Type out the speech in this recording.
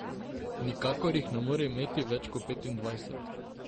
Nikakor jih ne more imeti več kot petindvajset.